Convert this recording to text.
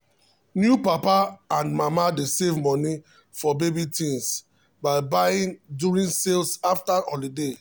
new papa and mama dey save money for baby things by buying during sales after holiday.